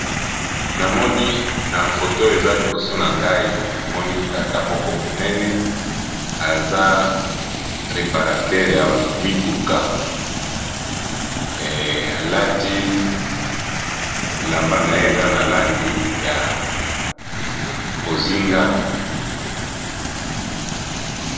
Namoni na foto eza liboso na ngai namoni tata moko ya monene aza reparatere ya mituka. Alati elamba na ye eza na langi ya bozinga.